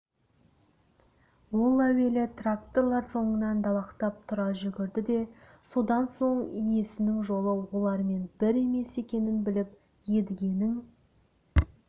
ол әуелі тракторлардың соңынан далақтап тұра жүгірді де содан соң иесінің жолы олармен бір емес екенін біліп едігенің